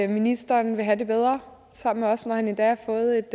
ministeren vil have det bedre sammen med os nu har han endda fået